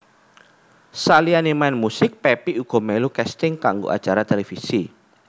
Saliyané main musik Pepi uga melu casting kanggo acara televisi